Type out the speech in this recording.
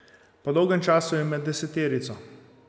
Po dolgem času je med deseterico.